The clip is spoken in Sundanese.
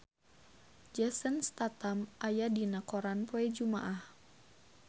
Jason Statham aya dina koran poe Jumaah